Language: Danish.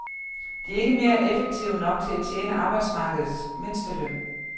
De er ikke effektive nok til at tjene arbejdsmarkedets mindsteløn.